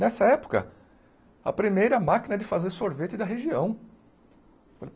Nessa época, a primeira máquina de fazer sorvete da região.